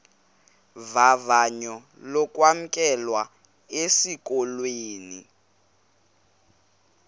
vavanyo lokwamkelwa esikolweni